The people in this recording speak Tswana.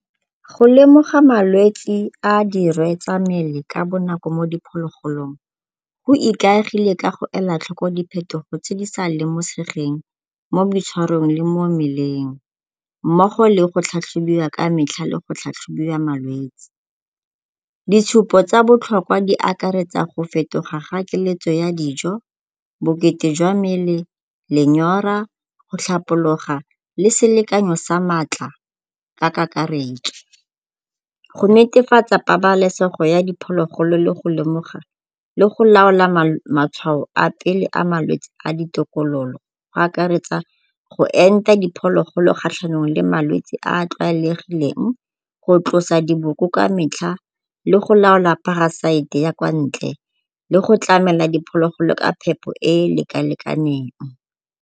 Go lemoga malwetsi a dirwe tsa mmele ka bonako mo diphologolong go ikaegile ka go ela tlhoko diphetogo tse di sa lemosegeng mo boitshwarong le mo mmeleng, mmogo le go tlhatlhobiwa ka metlha le go tlhatlhobiwa malwetsi. Ditshupo tsa botlhokwa di akaretsa go fetoga ga keletso ya dijo, bokete jwa mmele, lenyora go tlhapologa, le selekanyo sa maatla ka kakaretso. Go netefatsa pabalesego ya diphologolo le go lemoga le go laola matshwao a pele a malwetsi a ditokololo go akaretsa go enta diphologolo kgatlhanong le malwetsi a a tlwaelegileng, go tlosa diboko ka metlha le go laola parasite ya kwa ntle le go tlamela diphologolo ka phepho e e leka-lekaneng.